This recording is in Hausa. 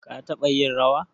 ka taba yin rawa?